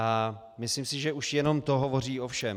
A myslím si, že už jenom to hovoří o všem.